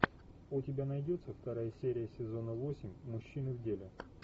у тебя найдется вторая серия сезона восемь мужчины в деле